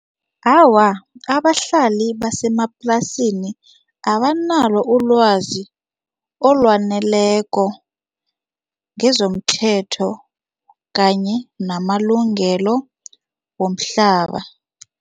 Awa, abahlali basemaplasini abanalo ulwazi olwaneleko ngezomthetho kanye namalungelo womhlaba.